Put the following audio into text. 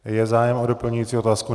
Je zájem o doplňující otázku?